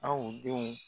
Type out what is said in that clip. Aw denw